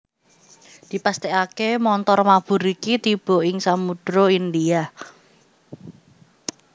Dipastèkaké montor mabur iki tiba ing Samudra India